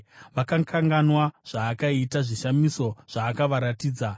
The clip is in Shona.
Vakakanganwa zvaakaita, zvishamiso zvaakavaratidza.